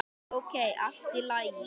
Ókei, allt í lagi.